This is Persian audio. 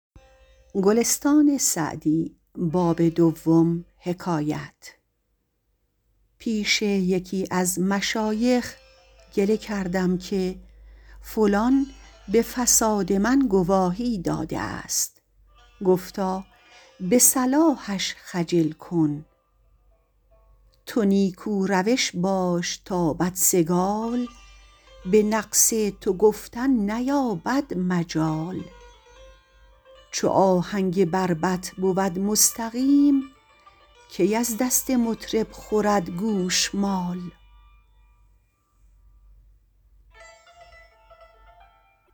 پیش یکی از مشایخ گله کردم که فلان به فساد من گواهی داده است گفتا به صلاحش خجل کن تو نیکو روش باش تا بدسگال به نقص تو گفتن نیابد مجال چو آهنگ بربط بود مستقیم کی از دست مطرب خورد گوشمال